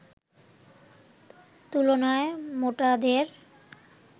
তুলনায় মোটাদের